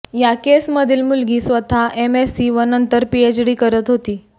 या केसमधील मुलगी स्वतः एमएससी व नंतर पीएचडी करत होती